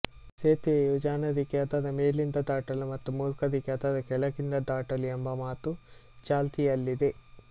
ಸೇತುವೆಯು ಜಾಣರಿಗೆ ಅದರ ಮೇಲಿಂದ ದಾಟಲು ಮತ್ತು ಮೂರ್ಖರಿಗೆ ಅದರ ಕೆಳಗಿಂದ ದಾಟಲು ಎಂಬ ಮಾತು ಚಾಲ್ತಿಯಲ್ಲಿದೆ